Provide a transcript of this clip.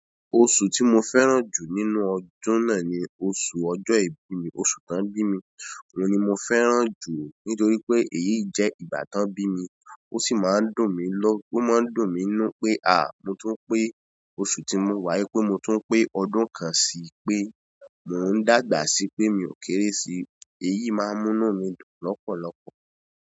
Oṣù tí mo fẹ́ràn jù nínú ọdún náà ni oṣù ọjọ́ ìbí mi, oṣù tán bí mi. Òun ni mo fẹ́ràn jù nítorí pé èyí jẹ́ ìgbà tán bí mi, ó sì máa ń dùn mí nu, ó máa ń dùn mí inú pé a, mo tún pé oṣù tí mo wà, pé mo tún pé ọdún kan sì í pé, mò ń dàgbà sí i pé mi ò kéré sì í, èyí máa ń mú inú mi dùn lọ́pọ̀lọpọ̀.